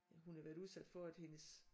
Ja hun havde været udsat for at hendes